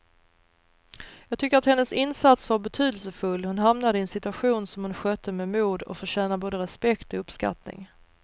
Jag tycker att hennes insats var betydelsefull, hon hamnade i en situation som hon skötte med mod och förtjänar både respekt och uppskattning.